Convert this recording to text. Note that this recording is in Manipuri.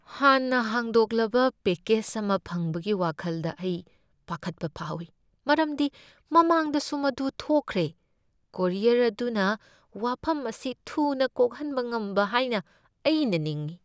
ꯍꯥꯟꯅ ꯍꯥꯡꯗꯣꯛꯂꯕ ꯄꯦꯀꯦꯖ ꯑꯃ ꯐꯪꯕꯒꯤ ꯋꯥꯈꯜꯗ ꯑꯩ ꯄꯈꯠꯄ ꯐꯥꯎꯏ ꯃꯔꯝꯗꯤ ꯃꯃꯥꯡꯗꯁꯨ ꯃꯗꯨ ꯊꯣꯛꯈꯔꯦ, ꯀꯨꯔꯤꯌꯔ ꯑꯗꯨꯅ ꯋꯥꯐꯝ ꯑꯁꯤ ꯊꯨꯅ ꯀꯣꯛꯍꯟꯕ ꯉꯝꯕ ꯍꯥꯏꯅ ꯑꯩꯅ ꯅꯤꯡꯏ꯫